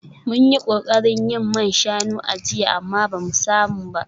Mun yi kokarin yin man shanu a jiya amma ba mu samu ba